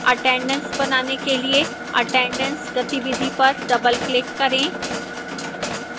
attendance बनाने के लिए attendance गतिविधि पर double click करें